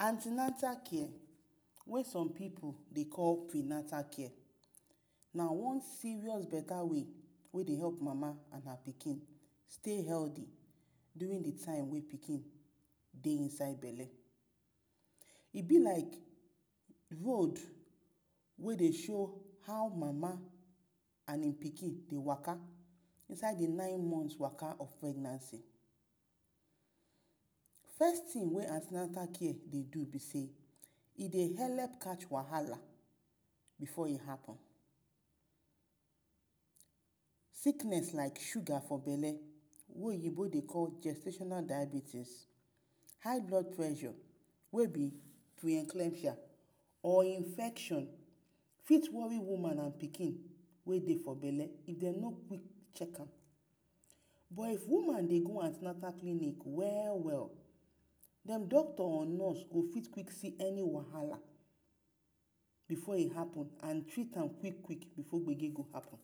Anti-natal care wey some pipu dey call pre-natal care, na one serious beta way wey dey help mama and her pikin stey heldy durin the time wey pikin dey bele. E be like road wey dey show how mama and im pikin dey waka inside the nine month waka of pregnancy. First tin wey anti-natal care dey do be sey, e dey helep catch wahala before e happen, sickness like sugar for bele wey oyibo dey call gestational diabetes, high blood pressure wey be………? Or infection fit wori woman and pikin wey dey for bele if dem no quick chek am. But if woman dey go anti-natal clinic we-we, den doctor or nurse go fit see any wahala before e happen and treat am quik-quik before gbege go happen.